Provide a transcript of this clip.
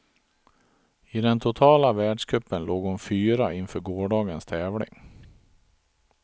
I den totala världscupen låg hon fyra inför gårdagens tävling.